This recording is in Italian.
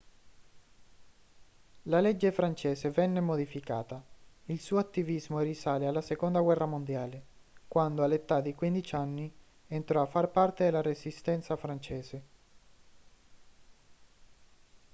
la legge francese venne modificata il suo attivismo risale alla seconda guerra mondiale quando all'età di 15 anni entrò a far parte della resistenza francese